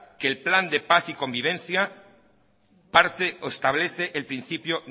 que el plan de paz y convivencia parte o establece el principio